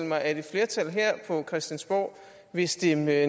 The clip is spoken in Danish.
mig at et flertal her på christiansborg vil stemme nej